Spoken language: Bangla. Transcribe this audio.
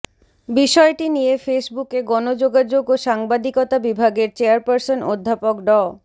বিষয়টি নিয়ে ফেসবুকে গণযোগাযোগ ও সাংবাদিকতা বিভাগের চেয়ারপার্সন অধ্যাপক ড